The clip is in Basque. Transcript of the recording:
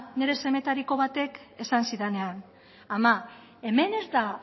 nire semetariko batek esan zidanean ama hemen ez da